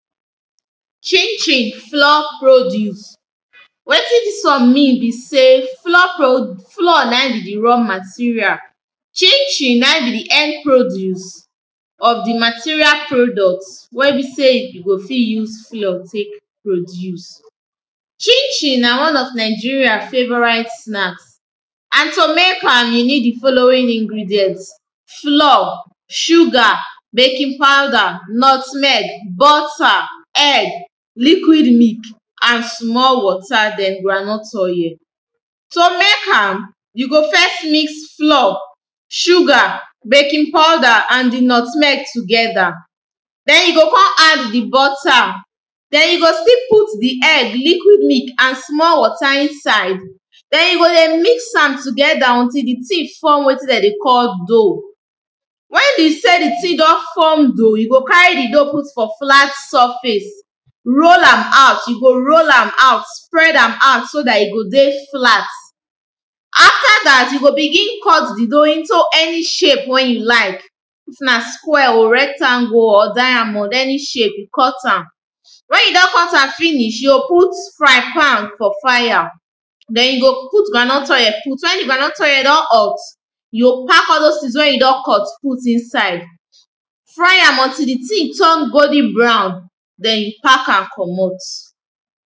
Chin chin flour produce. Wetin dis one mean be sey flour produce, flour na be di raw material chin chin na be di end produce of di material product wey be you go fit use flour take produce. chin chin na one of Nigeria favourite snacks and to make am you need di following ingredient, flour, sugar baking powder, nutmeg, butter, egg liquid milk and small water, then groundnut oil To make am you go first mix flour, sugar, baking powder and di nutmeg together then you go add di butter, then you go still put di egg, liquid milk, and small water inside then you go dey mix am together until di thing form wetin dem dey call dough wen be sey di thing don form dough, you go carry di dough put for flat surface roll am out, you go roll am out, spread am out so dat e go dey flat After dat, you go begin cut di dough into any shape wey you like if na square oh, rectangle or diamond any shape cut am wen you don cut am finish, you go put fry pan for fire then you go put groundnut oil put. Wen di groundnut oil don hot you go pack all those things wey you don cut put inside fry am until di thing turn golden brown, then you pack am comot.